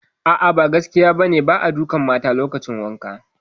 A'a, ba gaskiya ba ne, ba a dukan mata lokacin wankan